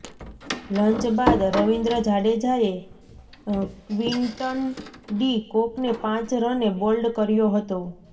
lunch બાદ રવીન્દ્ર જાડેજાએ Quinton de કોકને પાંચ રને બોલ્ડ કર્યો હતો